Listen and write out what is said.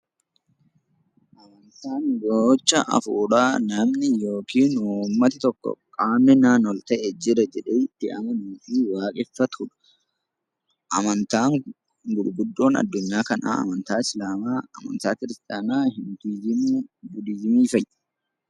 Amantaan gocha hafuuraa namni yookiin uummatni tokko "qaamni naan ol ta'e jira" jedhee itti amanuu fi waaqeffatuu dha. Amantaan gurguddoon Addunyaa kanaa amantaa Islaamaa, amantaa Kiristiyaanaa, Yuudiizimii, Budiizimii fa'i.